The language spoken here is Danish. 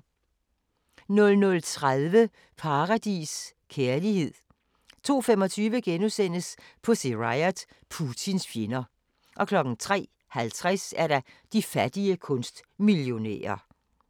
00:30: Paradis: Kærlighed 02:25: Pussy Riot – Putins fjender * 03:50: De fattige kunstmillionærer